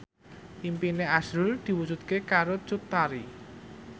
impine azrul diwujudke karo Cut Tari